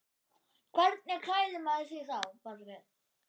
Hvernig klæðir maður sig þá?